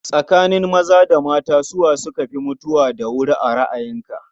Tsakanin maza da mata, su wa suka fi mutuwa da wuri a ra'ayinka?